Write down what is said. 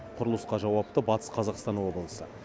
құрылысқа жауапты батыс қазақстан облысы